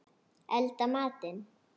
Elda matinn.